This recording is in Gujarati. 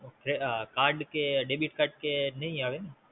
ઓકે Card કે Debit card કે નાઈ આવે ને?